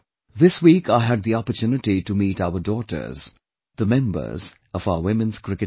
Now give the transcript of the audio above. This week I had the opportunity to meet our daughters, the members of our Women's Cricket team